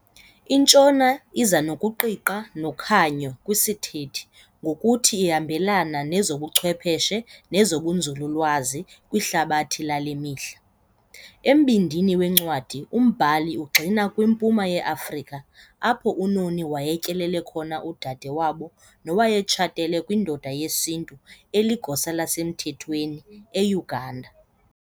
INtshona iza nokuqiqa nokhanyo kwisithethe ngokuthi ihambelana nezobuchwepheshe nezobunzululwazi kwihlabathi lale mihla. Embindini wencwadi umbhali ugxila kwiMpuma yeAfrika apho uNoni wayetyelele khona udade wabo nowayetshatele kwindoda yesiNtu eligosa lasemthethweni eUganda.